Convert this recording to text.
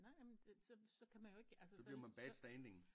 Nej nej men så så kan man jo ikke altså så så